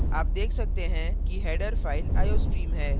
आप देख सकते हैं कि header file iostream है